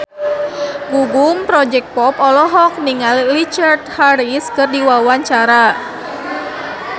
Gugum Project Pop olohok ningali Richard Harris keur diwawancara